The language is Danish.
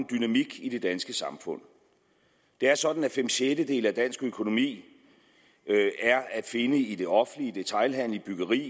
dynamik i det danske samfund det er sådan at fem sjettedele af dansk økonomi er at finde i det offentlige detailhandelen byggeriet